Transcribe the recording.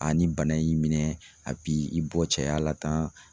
ni bana y'i minɛ a b'i i bɔ cɛya la tan